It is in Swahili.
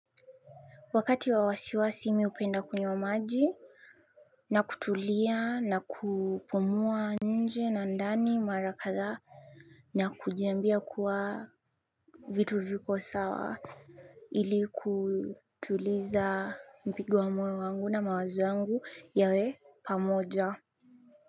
Wakati wa wasiwasi mi hupenda kunywa maji na kutulia na kupumua nje na ndani mara kadhaa na kujiambia kuwa vitu viko sawa ili kutuliza mpigo wa moyo wangu na mawazo yangu yawe pamoja.